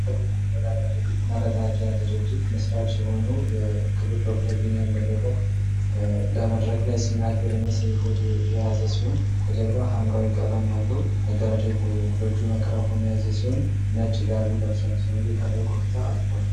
መረዳጃ ድርጅት መስራች የሆነው የክብር ዶክተር ቢኒያም በለጠ በመድረክ ላይ ሲናገር የሚያሳይ ፎቶ የያዘ ሲሆን ከጀርባ ሀምራዊ ቀለም ያለው መጋረጃ ይታያል። በእጁ ማይክራፎን የያዘ ሲሆን ነጭ ጋቢ ለብሷል። ሰውዬው ከላይ ኮፍያ አድርጓል።